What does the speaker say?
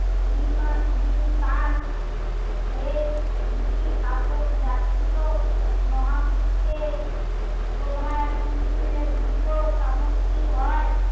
বিনা বিন সান এই দুটি শাসক জাতীয় মহাবিশ্বে প্রভাব উল্লেখ যোগ্য সামগ্রী হয়